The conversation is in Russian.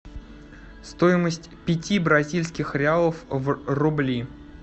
стоимость пяти бразильских реалов в рубли